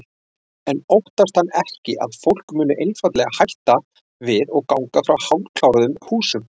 En óttast hann ekki að fólk muni einfaldlega hætta við og ganga frá hálfkláruðum húsum?